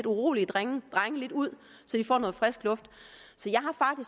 urolige drenge lidt ud så de får noget frisk luft